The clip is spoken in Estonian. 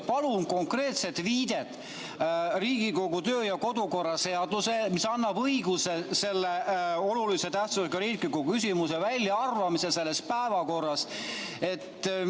Palun konkreetset viidet Riigikogu töö- ja kodukorra seadusele, mis annab õiguse selle olulise tähtsusega riikliku küsimuse väljaarvamiseks sellest päevakorrast!